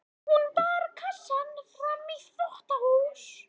Hún bar kassann fram í þvottahús.